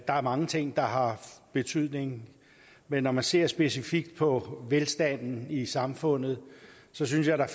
der er mange ting der har betydning men når man ser specifikt på velstanden i samfundet synes jeg at der